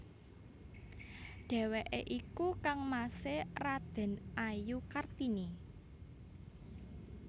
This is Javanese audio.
Dhèwèké iku kangmasé Radèn Ajoe Kartini